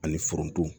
Ani foronto